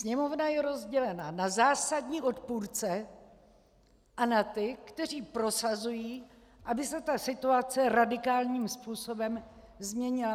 Sněmovna je rozdělena na zásadní odpůrce a na ty, kteří prosazují, aby se ta situace radikálním způsobem změnila.